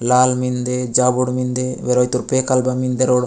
लाल मेन्दे जावड़ मेन्दे वेराई तोर पे काल बा मेन्दे रो --